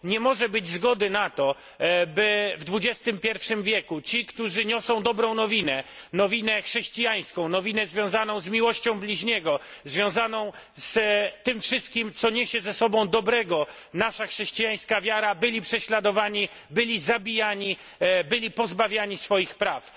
Nie może być zgody na to, by w XXI wieku ci, którzy niosą Dobrą Nowinę, nowinę chrześcijańską, nowinę związaną z miłością bliźniego, związaną z tym wszystkim, co niesie ze sobą dobrego nasza chrześcijańska wiara, byli prześladowani, byli zabijani, byli pozbawiani swoich praw.